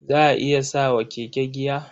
Za a iya sa wa keke giya.